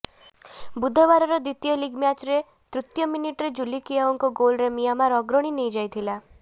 ବୁଧବାରର ଦ୍ବିତୀୟ ଲିଗ୍ ମ୍ୟାଚ୍ର ତୃତୀୟ ମିନିଟ୍ରେ ଜୁଲି କିଆଓଙ୍କ ଗୋଲ୍ରେ ମିଆଁମାର ଅଗ୍ରଣୀ ନେଇଯାଇଥିଲା